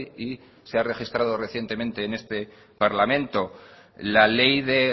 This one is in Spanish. y se ha registrado recientemente en este parlamento la ley de